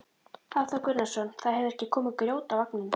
Hafþór Gunnarsson: Það hefur ekki komið grjót á vagninn?